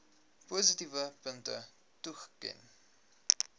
positiewe punte toeken